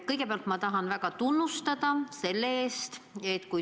Kõigepealt ma tahan tunnustust avaldada.